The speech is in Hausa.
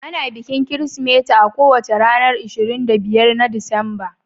Ana bikin Kirsimeti a kowace ranar ishirin da biyar na Disemba